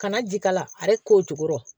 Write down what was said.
Kana ji k'a la a yɛrɛ ko jukɔrɔ